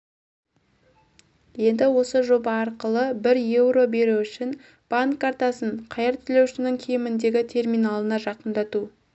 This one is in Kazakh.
енді осы жоба арқылы бір еуро беру үшін банк картасын қайыр тілеушінің киіміндегі терминалына жақындату